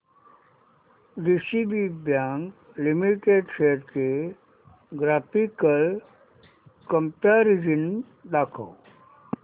DCB bank limited shares चे graphical comparison दाखव